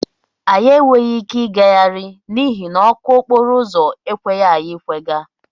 Anyị enweghị ike ịgagharị n'ihi na ọkụ okporo ụzọ ekweghị anyị ịkwaga.